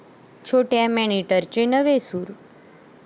छोट्या माॅनिटरचे नवे 'सूर'